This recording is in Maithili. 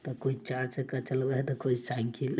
त कोई चार चक्का चलवे है त कोई साइकिल --